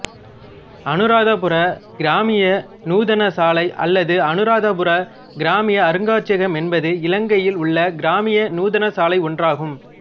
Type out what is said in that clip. அனுராதபுர கிராமிய நூதனசாலை அல்லது அனுராதபுர கிராமிய அருங்காட்சியகம் என்பது இலங்கையில் உள்ள கிராமிய நூதனசாலை ஒன்றாகும்